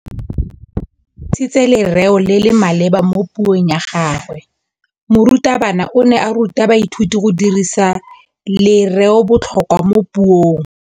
O dirisitse lerêo le le maleba mo puông ya gagwe. Morutabana o ne a ruta baithuti go dirisa lêrêôbotlhôkwa mo puong.